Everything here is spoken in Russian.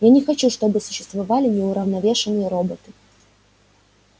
я не хочу чтобы существовали неуравновешенные роботы